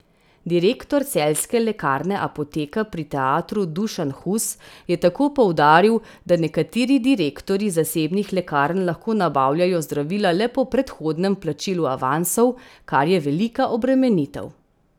Direktor celjske lekarne Apoteka pri teatru Dušan Hus je tako poudaril, da nekateri direktorji zasebnih lekarn lahko nabavljajo zdravila le po predhodnem plačilu avansov, kar je velika obremenitev.